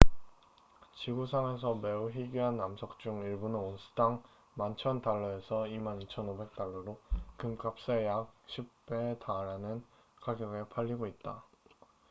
지구상에서 매우 희귀한 암석 중 일부는 온스당 11,000달러에서 22,500달러로 금값의 약 10배에 달하는 가격에 팔리고 있다